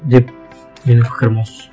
деп менің пікірім осы